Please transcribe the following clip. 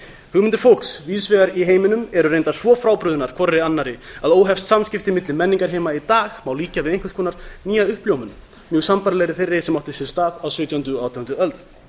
hugmyndir fólks víðs vegar í heiminum eru reyndar svo frábrugðnar hver annarri að óheft samskipti milli menningarheima má líkja við einhvers konar nýja uppljómun mjög sambærilega þeirri sem átti sér stað á sautjándu og átjándu öld